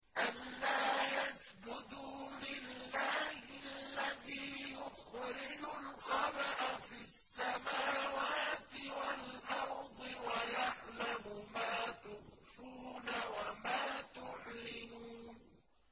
أَلَّا يَسْجُدُوا لِلَّهِ الَّذِي يُخْرِجُ الْخَبْءَ فِي السَّمَاوَاتِ وَالْأَرْضِ وَيَعْلَمُ مَا تُخْفُونَ وَمَا تُعْلِنُونَ